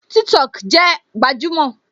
TikTok jẹ gbajúmò